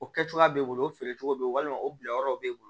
O kɛ cogoya b'e bolo o feerecogo be ye walima o bilayɔrɔ b'e bolo